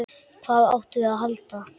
Hvað áttum við að halda?